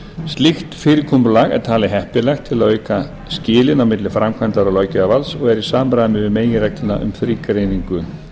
slíkt fyrirkomulag er talið heppilegt til að auka skilin á milli framkvæmdar og löggjafarvalds og er í samræmi við meginregluna um þrígreiningu